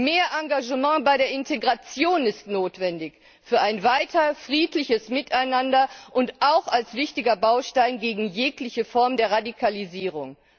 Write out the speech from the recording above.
Mehr Engagement bei der Integration ist notwendig für ein weiter friedliches Miteinander und auch als wichtiger Baustein gegen jegliche Form der Radikalisierung.